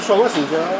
Ancaq sizdə.